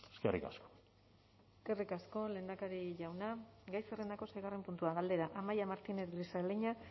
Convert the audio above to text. eskerrik asko eskerrik asko lehendakari jauna gai zerrendako seigarren puntua galdera amaia martínez grisaleña